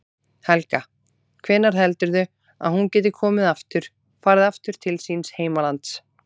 Helga: Hvenær heldurðu að hún geti komið aftur, farið aftur til síns heimalands?